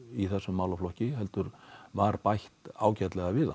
í þessum málaflokki heldur var bætt ágætlega við hann